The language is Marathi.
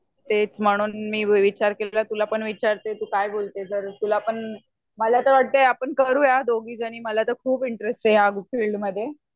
तेच म्हणून मी विचार केला तुला पण विचारते तू काय बोलते जर तुला पण मला तर वाटते करूया आपण दोघी जनी. मला तर खूप इंटरेस्ट आहे. ह्या फिल्डमध्ये.